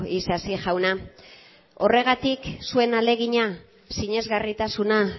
isasi jauna horregatik zuen ahalegina sinesgarritasuna